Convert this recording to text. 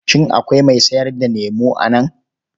Shin akwai mai sayar da lemo a nan?